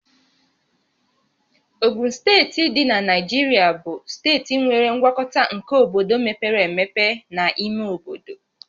Ogun Steeti dị na Naijiria bụ steeti nwere ngwakọta nke obodo mepere emepe na ime obodo